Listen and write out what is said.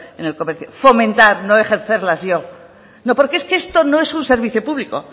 en el comercio fomentar no ejercerlas yo no porque esto no es un servicio público